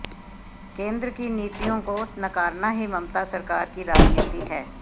केंद्र की नीतियों को नकारना ही ममता सरकार की राजनीति है